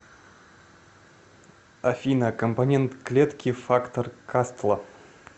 афина компонент клетки фактор кастла